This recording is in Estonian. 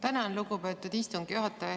Tänan, lugupeetud istungi juhataja!